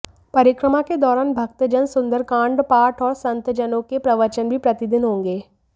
परिक्रमा के दौरान भक्तजन सुन्दरकाण्ड पाठ और संतजनों के प्रवचन भी प्रतिदिन होंगे